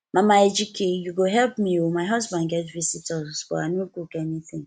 mama ejike you go help me oo my husband get visitor but i no cook anything